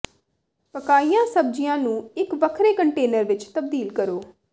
ਪਕਾਇਆ ਸਬਜ਼ੀਆਂ ਨੂੰ ਇਕ ਵੱਖਰੇ ਕੰਟੇਨਰ ਵਿਚ ਤਬਦੀਲ ਕਰੋ